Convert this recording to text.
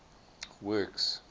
works